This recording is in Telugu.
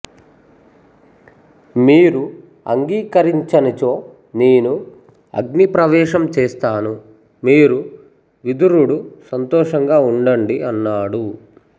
మీరు అంగీకరించనిచో నేను అగ్ని ప్రవేశం చేస్తాను మీరు విదురుడు సంతోషంగా ఉండండి అన్నాడు